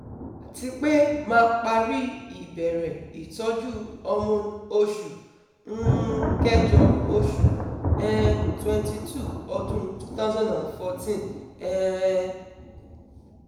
Atipe ma pari ibere itoju hormone osu um kejo ojo um twenty two odun twenty fourteen um